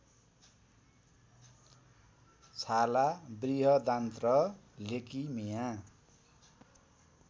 छाला बृहदान्त्र लेकिमिया